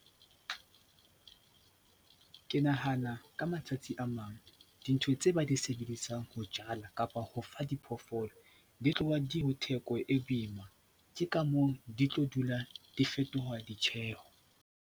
Ke nahana ka matsatsi a mang dintho tse ba di sebedisang ho jala kapa ho fa diphoofolo di tloha di ho theko e boima, ke ka moo di tlo dula di fetoha ditjheho.